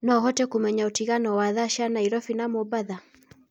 noũhote kũmenya utĩngano wa thaa cĩa naĩrobĩ na mombatha